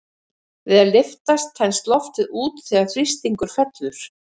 Við að lyftast þenst loft út þegar þrýstingur fellur.